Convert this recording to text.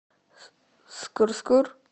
скыр скыр